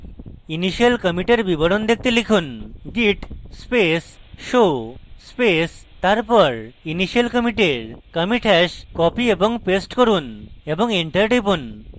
initial commit এর বিবরণ দেখতে লিখুন: git space show space তারপর initial commit এর commit hash copy এবং paste করুন এবং enter টিপুন